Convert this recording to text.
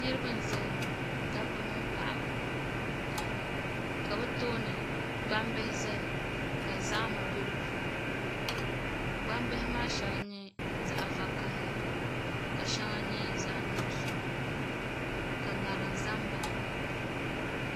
Niraba n ʒɛya ŋɔ dabba mini paɣaba ka bi tooni gbambihi ʒɛya ka zahama bɛ di puuni gbambihi maa shɛli n nyɛ zaɣ vakaɣili ka shɛŋa nyɛ zaɣ nuɣso ka ŋarim ʒɛ n baɣa ba